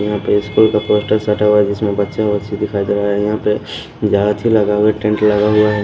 यहाँ पे स्कूल का पोस्टर सटा हुआ है जिसमें बच्चे वच्चे दिखाई दे रहा है यहां पे लगा हुआ है टेंट लगा हुआ है।